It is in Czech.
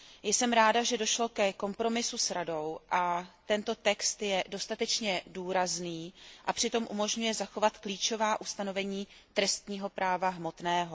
Jsem ráda, že došlo ke kompromisu s Radou a tento text je dostatečně důrazný a přitom umožňuje zachovat klíčová ustanovení trestního práva hmotného.